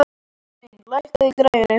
Elín, lækkaðu í græjunum.